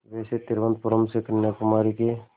वैसे तिरुवनंतपुरम से कन्याकुमारी के